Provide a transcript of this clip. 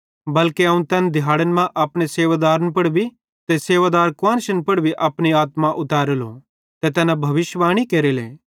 बल्के अवं तैन दिहैड़न मां अपने सेवादार मड़दन ते सेवादार कुआन्शन पुड़ अपनी आत्मा उतरेलो ते तैना भविष्यिवाणी केरेले